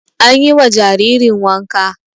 Anyi wa jaririn wanka